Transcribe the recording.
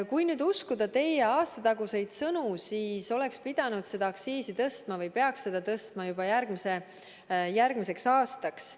Kui nüüd uskuda teie aastataguseid sõnu, siis oleks pidanud seda aktsiisi tõstma või peaks seda tõstma juba järgmise järgmiseks aastaks.